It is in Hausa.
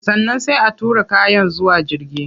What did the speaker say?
Sannan sai a tura kayan zuwa jirgi